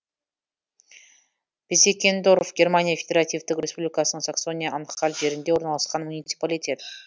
пезеккендорф германия федеративтік республикасының саксония анхальт жерінде орналасқан муниципалитет